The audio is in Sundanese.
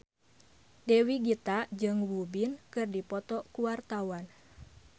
Dewi Gita jeung Won Bin keur dipoto ku wartawan